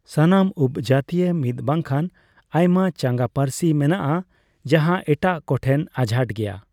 ᱥᱟᱱᱟᱢ ᱩᱯᱚᱡᱟᱹᱛᱤᱭᱟᱜ ᱢᱤᱫ ᱵᱟᱝᱠᱷᱟᱱ ᱟᱭᱢᱟ ᱪᱟᱸᱜᱟ ᱯᱟᱹᱨᱥᱤ ᱢᱮᱱᱟᱜᱼᱟ, ᱡᱟᱸᱦᱟ ᱮᱴᱟᱜ ᱠᱚ ᱴᱷᱮᱱ ᱟᱡᱷᱟᱴ ᱜᱮᱭᱟ ᱾